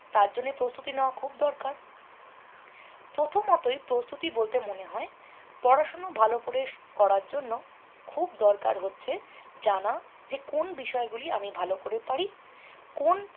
তার জন্য প্রস্তুতি নেওয়া খুব দরকার। প্রথমতই প্রস্তুতি বলতে মনে হয় পড়াশুনো ভালো করে করার জন্য খুব দরকার হচ্ছে জানা যে কোন বিষয়গুলি আমি ভালো করে পারি কোন